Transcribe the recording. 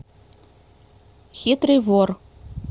хитрый вор